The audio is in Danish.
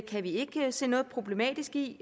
kan vi ikke se noget problematisk i